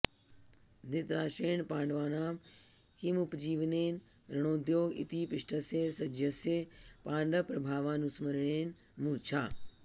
धृतराष्ट्रेण पाण्डवानां किमुपजीवनेन रणोद्योग इति पृष्टस्य सञ्जयस्य पाण्डवप्रभावानुस्मरणेन मूर्छा